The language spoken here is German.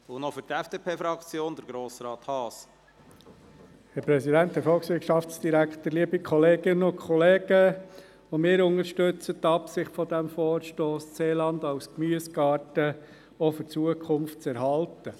Auch wir unterstützen die Absicht dieses Vorstosses, das Seeland als Gemüsegarten auch für die Zukunft zu erhalten.